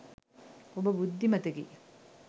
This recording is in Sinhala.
ඔබ බුද්ධිමතෙකි.